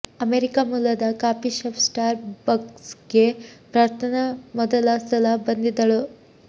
America ಮೂಲದ coffee shop Starbucks ಗೆ ಪ್ರಾರ್ಥನಾ ಮೊದಲ ಸಲ ಬಂದಿದ್ದಳು